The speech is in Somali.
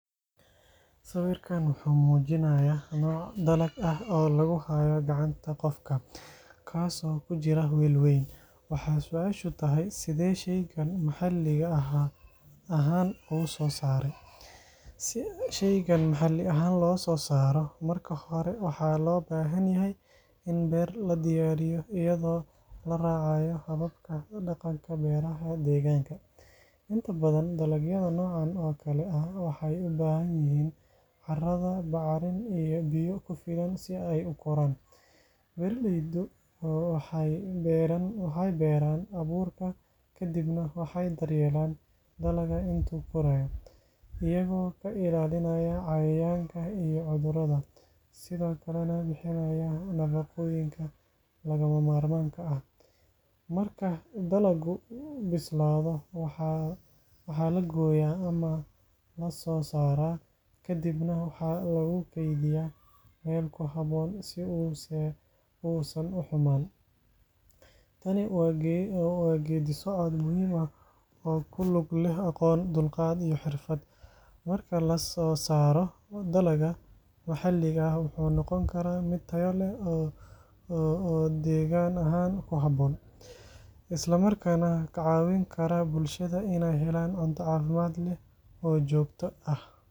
Sawirkan wuxuu muujinayaa nooc dalag ah oo lagu hayo gacanta qofka, kaas oo ku jira weel weyn. Waxaa su’aashu tahay: "Sidee shaygan maxalli ahaan u soo saaray?" Si shaygan maxalli ahaan loo soo saaro, marka hore waxaa loo baahan yahay in beer la diyaariyo, iyadoo la raacayo hababka dhaqanka beeraha deegaanka. Inta badan, dalagyada noocan oo kale ah waxay u baahan yihiin carrada bacrin iyo biyo ku filan si ay u koraan. Beeraleydu waxay beeraan abuurka, ka dibna waxay daryeelaan dalagga inta uu korayo, iyagoo ka ilaalinaya cayayaanka iyo cudurrada, sidoo kalena bixinaya nafaqooyinka lagama maarmaanka ah. Marka dalaggu bislaado, waxaa la gooyaa ama la soo saaraa, ka dibna waxaa lagu kaydiyaa meel ku habboon si uusan u xumaan. Tani waa geeddi-socod muhiim ah oo ku lug leh aqoon, dulqaad, iyo xirfad. Marka la soo saaro, dalagga maxalliga ah wuxuu noqon karaa mid tayo leh oo deegaan ahaan ku habboon, isla markaana ka caawin kara bulshada inay helaan cunto caafimaad leh oo joogto ah.